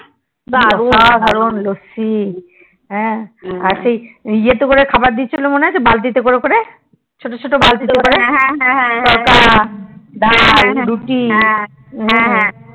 কি অসাধারন লসি আর এ তে করে খাবার দিচ্ছিল মন আছে বালতি করে ওখানে ছোট ছোট বালতি করে তড়কা ডাল রুটি